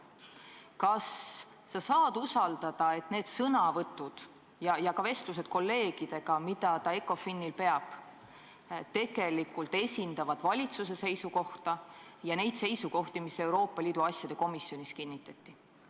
Kas sa saad usaldada, et tema sõnavõtud ja ka vestlused kolleegidega, mida ta ECOFIN-il peab, tegelikult esindavad valitsuse seisukohta ja neid seisukohti, mis Euroopa Liidu asjade komisjonis kinnitati?